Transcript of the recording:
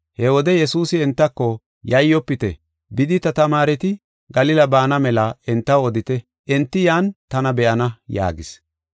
He wode Yesuusi entako, “Yayyofite; bidi ta tamaareti Galila baana mela entaw odite. Enti yan tana be7ana” yaagis.